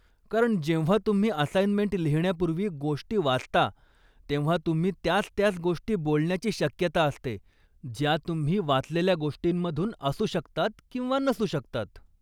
कारण जेव्हा तुम्ही असाइनमेंट लिहिण्यापूर्वी गोष्टी वाचता तेव्हा तुम्ही त्याच त्याच गोष्टी बोलण्याची शक्यता असते, ज्या तुम्ही वाचलेल्या गोष्टींमधून असू शकतात किंवा नसू शकतात.